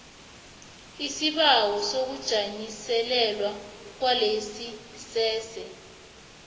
isibawo sokujanyiselelwa kwelayisense